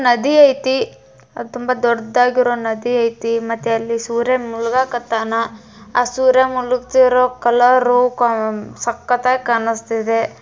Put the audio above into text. ನದಿ ಐತಿ ಅದ್ ತುಂಬಾ ದೊಡ್ಡಾಗಿರೋ ನದಿ ಐತಿ ಮತ್ತೆ ಅಲ್ಲಿ ಸೂರ್ಯ ಮುಳಗಾ ಕತ್ತಾನ ಆ ಸೂರ್ಯ ಮುಳುಗ್ತಿರೋ ಕಲರ್ರು ಸಕ್ಕತ್ತಾಗಿ ಕಾಣಿಸ್ತಿದೆ.